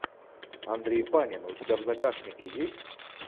андрей панин у тебя в загашнике есть